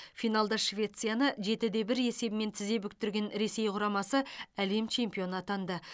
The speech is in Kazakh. финалда швецияны жеті де бір есебімен тізе бүктірген ресей құрамасы әлем чемпионы атанды